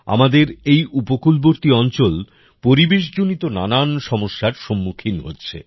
আমাদের এই উপকূলবর্তী অঞ্চল পরিবেশ জনিত নানান সমস্যার সম্মুখীন হচ্ছে